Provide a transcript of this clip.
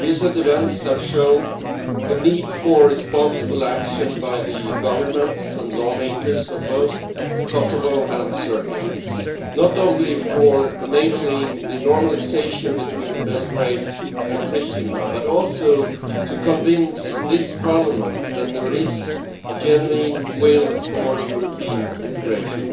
Recent events have shown the need for responsible action by the governments and lawmakers of both Kosovo and Serbia, not only for enabling the normalisation between Belgrade and Pristina, but also to convince this Parliament that there is a genuine will for European integration.